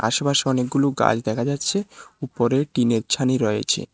পাশাপাশি অনেকগুলো গাছ দেখা যাচ্ছে উপরে টিনের ছানি রয়েছে।